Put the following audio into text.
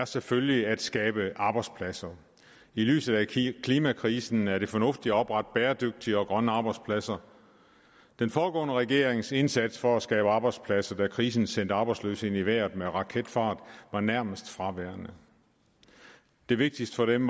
selvfølgelig er at skabe arbejdspladser i lyset af klimakrisen er det fornuftigt at oprette bæredygtige og grønne arbejdspladser den foregående regerings indsats for at skabe arbejdspladser da krisen sendte arbejdsløsheden i vejret med raketfart var nærmest fraværende det vigtigste for dem